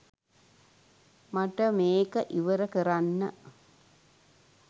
මට මෙක ඉවරකරන්න.